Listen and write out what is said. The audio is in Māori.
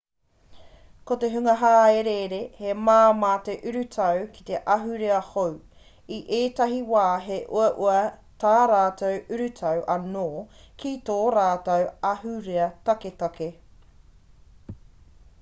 ko te hunga hāereere he māmā te urutau ki te ahurea hou i ētahi wā he uaua tā rātou urutau anō ki tō rātou ahurea taketake